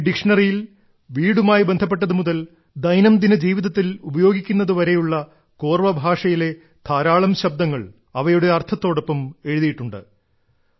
ഈ ഡിക്ഷ്ണറിയിൽ വീടുമായി ബന്ധപ്പെട്ടതു മുതൽ ദൈനംദിന ജീവിതത്തിൽ ഉപയോഗിക്കുന്നതു വരെയുള്ള കോർവ ഭാഷയിലെ ധാരാളം ശബ്ദങ്ങൾ അവയുടെ അർത്ഥത്തോടൊപ്പം എഴുതിയിട്ടുണ്ട്